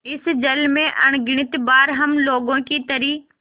इस जल में अगणित बार हम लोगों की तरी